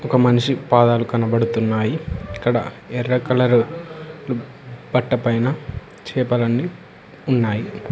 ఒక మనిషి పాదాలు కనబడుతున్నాయి ఇక్కడ ఎర్ర కలరు బట్ట పైన చేపలన్నీ ఉన్నాయి.